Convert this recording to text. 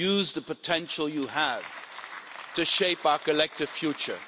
Use the potential you have to shape our collective future.